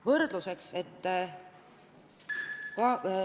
Võrdluseks, et ...